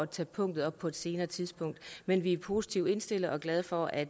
tager punkterne op på et senere tidspunkt men vi er positivt indstillet og glade for at